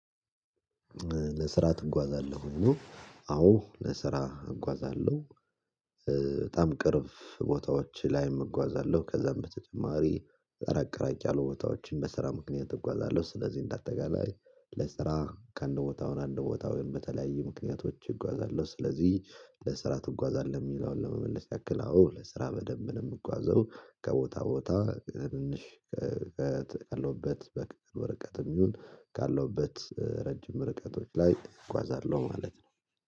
ለስራ ትጓዛለህ ወይ ነው? አዎ ለስራ እጓዛለሁ። ስለዚህ በጣም ቅርቦታዎች ላይ እጓዛለሁ ከዛም በተጨማሪ ራቅ ራቅ ያሉ ቦታዎችን በስራ ምክንያት እጓዛለሁ። ስለዚህ እንደ አጠቃላይ ለስራ ከአንድ ቦታውን አንድ ቦታውን ወይም በተለያዩ ምክንያቶች እጓዛለሁ። ስለዚህ ለስራ ትጓዛለህ የሚለውን ለመመለስ ያክል? አዎ ለስራ በደንብ ነው የምጓዘው ከቦታ ቦታ ትንሽ። ቀሎበት በቅድም ወረቀትም ይሁን ካለውበት ረጅም ርቀቶች ላይ እጓዛለሁ ማለት ነው